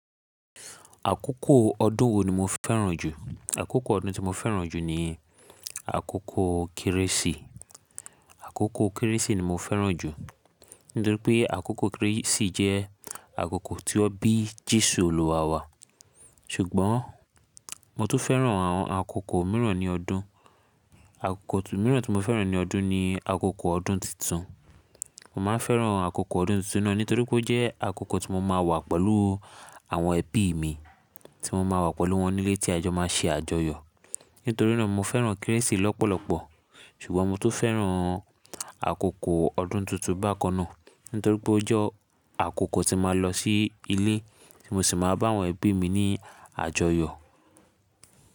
Àkókò ọdún wo ni mo fẹ́ràn jù? Àkókò ọdún tí mo fẹ́ràn jù ni àkókò Kérésì. Àkókò Kérésì ni mo fẹ́ràn jù nítorí pé àkókò Kérésì jẹ́ àkókò tí wọ́n bí Jésù Olúwa wa. Ṣùgbọ́n mo tó fẹ́ràn àwọn àkókò mìíràn ní ọdún. Àkókò mìíràn tí mo fẹ́ràn ní ọdún ni àkókò ọdún titun. Mo máa ń fẹ́ràn àkókò ọdún titun náà nítorí pé ó jẹ́ àkókò tí mo máa wà pẹ̀lú àwọn ẹbí mi, tí mo máa wà pẹ̀lú wọn nílé tí a jọ máa ṣe àjọyọ̀. Nítorí náà mo fẹ́ràn Kérésì lọ́pọ̀lọpọ̀, ṣùgbọ́n mo tó fẹ́ràn àkókò ọdún tuntun bákan náà nítorí pé ó jẹ́ àkókò tí màá lọ sí ilé tí mo sì máa bá àwọn ẹbí mi ní àjọyọ̀.